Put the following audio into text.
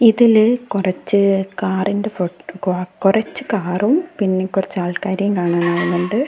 ഇതില് കൊറച്ച് കാറിന്റെ ഫോ കൊ കൊറച്ച് കാറും പിന്നെ കൊറച്ച് ആൾക്കാരേം കാണാനാവുന്നുണ്ട്.